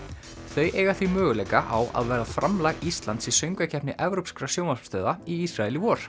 þau eiga því möguleika á að vera framlag Íslands í söngvakeppni evrópskra sjónvarpsstöðva í Ísrael í vor